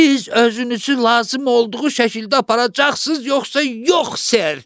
Siz özünüzü lazım olduğu şəkildə aparacaqsız, yoxsa yox, ser?